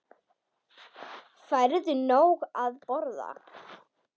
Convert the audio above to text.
Færðu nóg að borða?